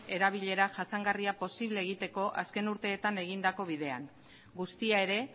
erabilera jasangarria posible egiteko azken urteetan egindako bidean guztia ere